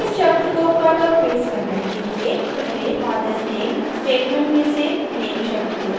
इस शब्द को cut और paste करने के लिए पहले fathers name statement में से name शब्द को चुनें